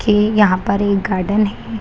की यहाँ पर एक गार्डन हे।